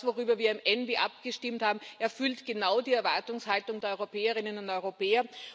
Ich glaube, das, worüber wir im ENVI abgestimmt haben, erfüllt genau die Erwartungshaltung der Europäerinnen und Europäer.